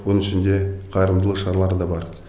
соның ішінде қайырымдылық шаралары да бар